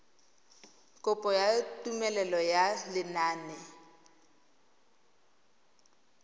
kopo ya tumelelo ya lenane